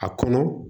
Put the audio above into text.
A kɔnɔ